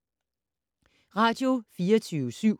Radio24syv